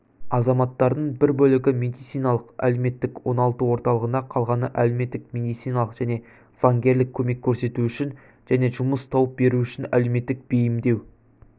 азаматтардың бір бөлігі медициналық-әлеуметтік оңалту орталығына қалғаны әлеуметтік медициналық және заңгерлік көмек көрсету үшін және жұмыс тауып беру үшін әлеуметтік бейімдеу